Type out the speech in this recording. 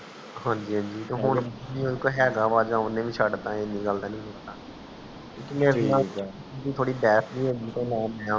ਹਾਂਜੀ ਹਾਂਜੀ ਹੁਣ ਹੇਗਾ ਵਾ ਆ ਜਾ ਉਨੇ ਵੀ ਸ਼ਡ ਤਾ ਇੰਨੀ ਗੱਲ ਤਾ ਨੀ ਹੇਗੀ ਮੇਰੀ ਥੋੜੀ ਭੇਸ ਜਿਹੀ ਹੋਗਈ ਤਾਂ